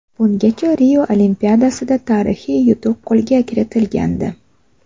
Bungacha Rio Olimpiadasida tarixiy yutuq qo‘lga kiritilgandi.